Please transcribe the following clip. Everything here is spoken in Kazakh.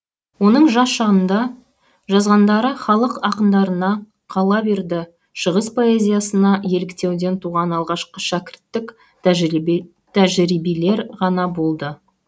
оның жас шағында жазғандары халық ақындарына қала берді шығыс поэзиясына еліктеуден туған алғашқы шәкірттік тәжірибелер ғана болды